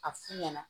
A f'u ɲɛna